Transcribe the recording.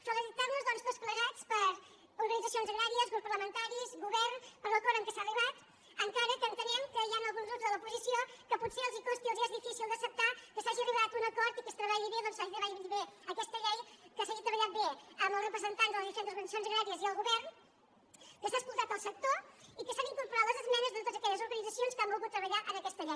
felicitar·nos doncs tots plegats organitzacions agrà·ries grups parlamentaris govern per l’acord a què s’ha arribat encara que entenem que hi han alguns grups de l’oposició que potser els costi els és difícil d’acceptar que s’hagi arribat a un acord i que es tre·balli bé aquesta llei que s’hagi treballat bé amb els representants de les diferents organitzacions agràries i el govern que s’ha escoltat el sector i que s’han incor·porat les esmenes de totes aquelles organitzacions que han volgut treballar en aquesta llei